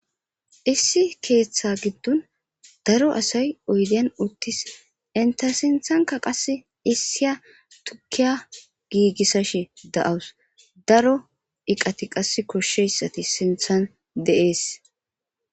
issi keeththa giddon daro asay oydeyan uttis inta sinthanka qas issiya tukiya giigissash da7awus daro iqati qas koshsheyssati sinthan de7ees